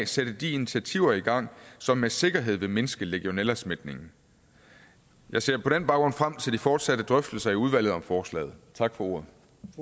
sætte de initiativer i gang som med sikkerhed vil mindske legionellasmitten jeg ser på den baggrund frem til de fortsatte drøftelser i udvalget om forslaget tak for ordet